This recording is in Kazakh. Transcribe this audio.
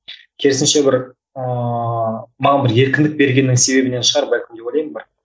керісінше бір ыыы маған бір еркіндік бергеннің себебінен шығар бәлкім деп ойлаймын бір